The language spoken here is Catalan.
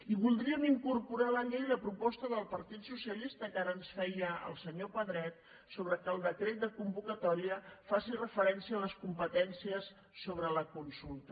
i voldríem incorporar a la llei la proposta del partit socialista que ara ens feia el senyor pedret sobre el fet que el decret de convocatòria faci referència a les competències sobre la consulta